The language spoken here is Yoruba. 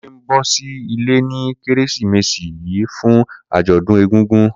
Kunle n bọ si ile ni Keresimesi yii fun ajọdun egungun.